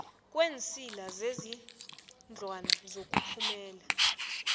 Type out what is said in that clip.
kweensila zezindlwana zokuphumela